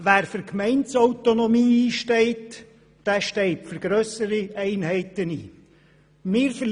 Wer für Gemeindeautonomie einsteht, steht für grössere Einheiten ein.